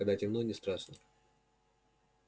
когда темно не страшно